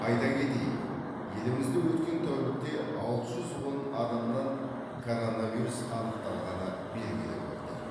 айта кетейік елімізде өткен тәулікте алты жүз он адамнан коронавирус анықталғаны белгілі болды